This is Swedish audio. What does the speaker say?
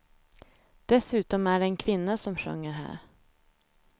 Dessutom är det en kvinna som sjunger här.